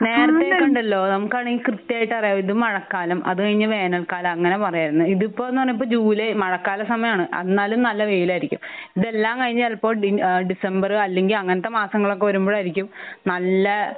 നേരത്തെ കണ്ടല്ലോ? നമുക്കാണെങ്കി കൃത്യായിട്ട് അറിയാം. ഇത് മഴക്കാലത്തെ അത് കഴിഞ്ഞ വേനൽക്കാലം അങ്ങനെ പറയാർന്നു. ഇതിപ്പോന്ന് പറഞ്ഞ ഇപ്പൊ ജൂലൈ ഇപ്പൊ മഴക്കാല സമയാണ് എന്നാലും നല്ല വെയിലായിരിക്കും. ഇതെല്ലാം കഴിഞ്ഞ് ചെലപ്പോ ആഹ് ഡിസംബറ് അല്ലെങ്കി അങ്ങനത്തെ മാസങ്ങളൊക്കെ വരുമ്പഴായിരിക്കും നല്ലാ